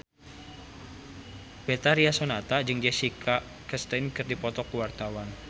Betharia Sonata jeung Jessica Chastain keur dipoto ku wartawan